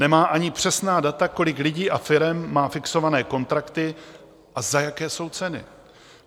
Nemá ani přesná data, kolik lidí a firem má fixované kontrakty a za jaké jsou ceny.